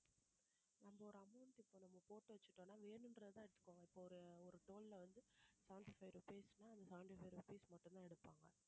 நம்ம ஒரு amount இப்ப நம்ம போட்டு வச்சுட்டோம்ன்னா வேணும்ன்றதை எடுத்துக்குவாங்க இப்ப ஒரு ஒரு toll ல வந்து seventy five rupees ன்னா அந்த seventy five rupees மட்டும்தான் எடுப்பாங்க